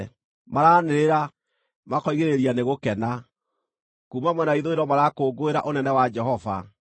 Maranĩrĩra, makoigĩrĩria nĩ gũkena; kuuma mwena wa ithũĩro marakũngũĩra ũnene wa Jehova.